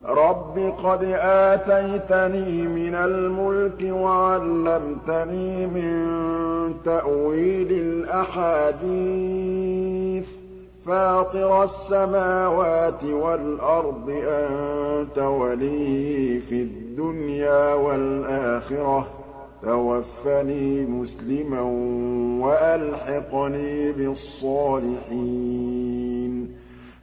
۞ رَبِّ قَدْ آتَيْتَنِي مِنَ الْمُلْكِ وَعَلَّمْتَنِي مِن تَأْوِيلِ الْأَحَادِيثِ ۚ فَاطِرَ السَّمَاوَاتِ وَالْأَرْضِ أَنتَ وَلِيِّي فِي الدُّنْيَا وَالْآخِرَةِ ۖ تَوَفَّنِي مُسْلِمًا وَأَلْحِقْنِي بِالصَّالِحِينَ